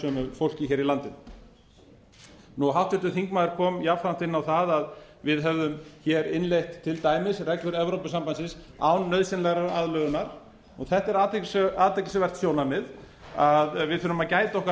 fólki hér í landinu háttvirtur þingmaður kom jafnframt inn á það að við hefðum hér innleitt til dæmis reglur evrópusambandsins án nauðsynlegrar aðlögunar þetta er athyglisvert sjónarmið að við þurfum að gæta okkar